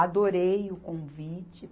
Adorei o convite.